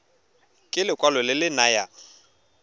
ke lekwalo le le nayang